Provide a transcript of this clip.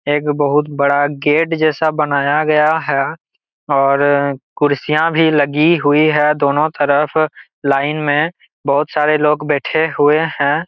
एक बहुत बड़ा गेट जैसा बनाया गया है और कुर्सियां भी लगी हुई है दोनों तरफ लाइन मे बहुत सारे लोग बैठे हुए है।